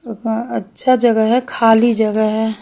अच्छी जगह हे खाली जगह हैं।